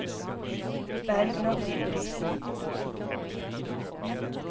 Bergliot Didriksen